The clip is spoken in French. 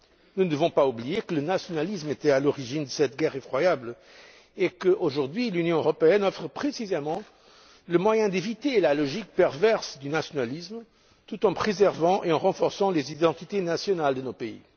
Nous ne devons pas oublier que le nationalisme était à l'origine de cette guerre effroyable et que, aujourd'hui, l'Union européenne offre précisément le moyen d'éviter la logique perverse du nationalisme, tout en préservant et en renforçant les identités nationales de nos pays.